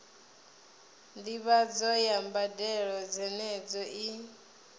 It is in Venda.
ndivhadzo ya mbadelo dzenedzo i